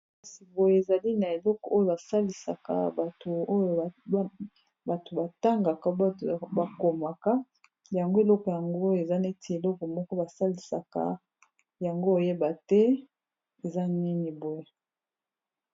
Kasi boye ezali na eleko oyo basalisaka bato oyo bato batangaka bakomaka yango eloko yango eza neti eloko moko basalisaka yango oyeba te eza nini boye